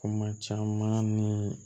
Kuma caman ni